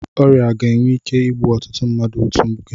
Ọrịa ga-enwe ike igbu ọtụtụ mmadụ n'otu oge.